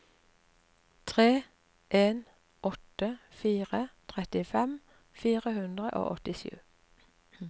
tre en åtte fire trettifem fire hundre og åttisju